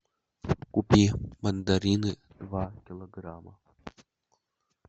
купи мандарины два килограмма